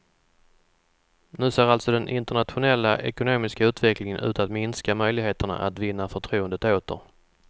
Nu ser alltså den internationella ekonomiska utvecklingen ut att minska möjligheterna att vinna förtroendet åter.